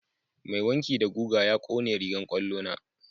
Mai wanki da guga ya ƙone rigan kwallo na.